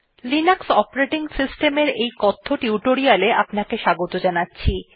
Linux operating সিস্টেমের এই কথ্য টিউটোরিয়ালে আপনাকে স্বাগত জানাচ্ছি